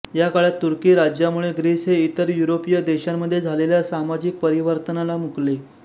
या काळात तुर्की राज्यामुळे ग्रीस हे इतर युरोपीय देशांमध्ये झालेल्या सामाजिक परिवर्तानाला मुकले